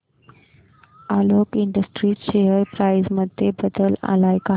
Alok industries share price मध्ये बदल आलाय का